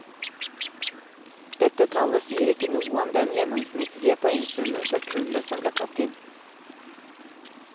Dette tallet sier ikke noe om den gjennomsnittlige poengsummen for kullet som ble tatt inn.